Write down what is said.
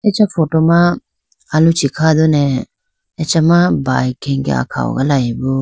Acha photo ma aluchi kha done acha ma bike khege akha hogalayibo.